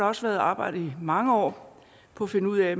også været arbejdet i mange år på at finde ud af